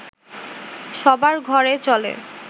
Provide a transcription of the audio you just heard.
সবার ঘরে চলে